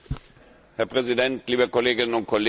Herr Präsident, liebe Kolleginnen und Kollegen!